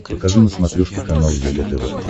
покажи на смотрешке канал егэ тв